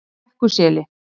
Brekkuseli